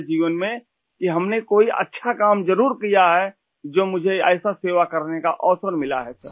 ہماری زندگی میں کہ کہ ہم نے اچھا کام ضرور کیا ہے ، جو مجھے ایسی خدمت کرنے کا موقع ملا ہے